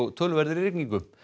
töluverðri rigningu